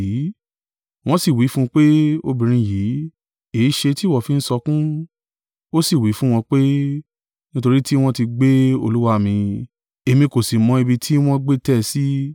Wọ́n sì wí fún un pé, “Obìnrin yìí, èéṣe tí ìwọ fi ń sọkún?” Ó sì wí fún wọn pé, “Nítorí tí wọ́n ti gbé Olúwa mi, èmi kò sì mọ ibi tí wọ́n gbé tẹ́ ẹ sí.”